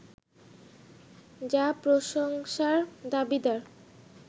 যা প্রশংসার দাবিদার